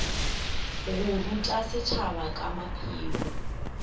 go ruta setšhaba ka maphelo